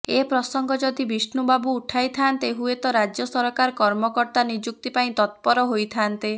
ଏ ପ୍ରସଙ୍ଗ ଯଦି ବିଷ୍ଣୁ ବାବୁ ଉଠାଇଥାନ୍ତେ ହୁଏତ ରାଜ୍ୟ ସରକାର କର୍ମକର୍ତ୍ତା ନିଯୁକ୍ତି ପାଇଁ ତତ୍ପର ହୋଇଥାନ୍ତେ